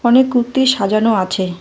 অনেক কুত্তি সাজানো আছে।